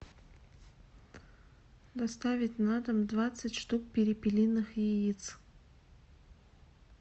доставить на дом двадцать штук перепелиных яиц